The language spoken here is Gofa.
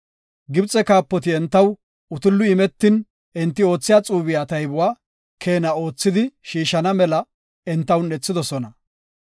Gibxe kaapoti entaw utulli imetin enti oothiya xuube taybuwa keena oothidi shiishana mela enta un7ethidosona.